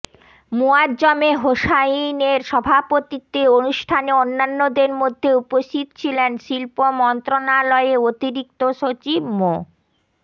মুয়াজ্জমে হোসাইনের সভাপতিত্বে অনুষ্ঠানে অন্যান্যদের মধ্যে উপস্থিত ছিলেন শিল্প মন্ত্রণালয়ে অতিরিক্ত সচিব মো